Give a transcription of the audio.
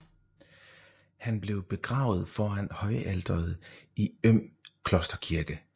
Han blev begravet foran højalteret i Øm klosterkirke